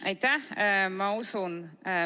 Aitäh!